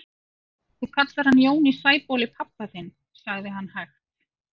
Þú kallar hann Jón í Sæbóli pabba þinn, sagði hann hægt.